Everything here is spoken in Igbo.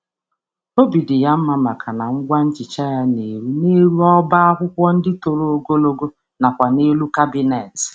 Ọ na-enwe mmasị na ihe mgbasa ájá ya nwere ike ịgbatị ka o wee ruo elu shelf na ndí akpati.